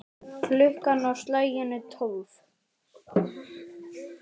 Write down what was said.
Klukkan á slaginu tólf.